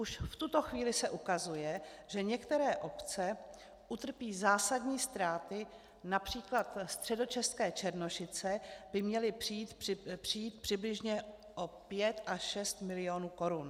Už v tuto chvíli se ukazuje, že některé obce utrpí zásadní ztráty, například středočeské Černošice by měly přijít přibližně o 5 až 6 milionů korun.